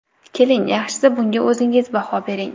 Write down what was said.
Keling, yaxshisi bunga o‘zingiz baho bering.